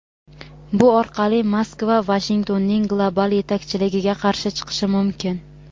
bu orqali Moskva Vashingtonning global yetakchiligiga qarshi chiqishi mumkin.